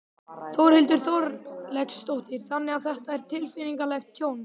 Þórhildur Þorkelsdóttir: Þannig að þetta er tilfinningalegt tjón?